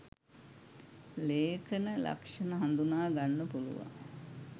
ලේඛන ලක්ෂණ හඳුනා ගන්න පුළුවන්.